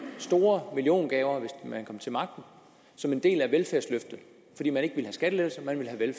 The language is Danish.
store milliongaver hvis man kom til magten som en del af velfærdsløftet fordi man ikke ville have skattelettelser man ville have